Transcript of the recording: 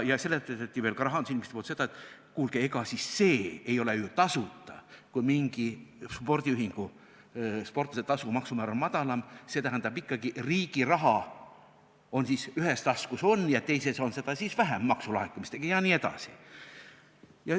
Ja seletati veel rahandusinimeste poolt seda, et kuulge, ega siis see ei ole ju tasuta, kui mingi spordiühingu sportlasetasu maksumäär on madalam, et riigi raha siis ühes taskus on ja teises on seda maksulaekumiste mõttes vähem jne.